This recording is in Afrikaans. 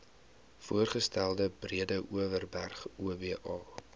voorgestelde breedeoverberg oba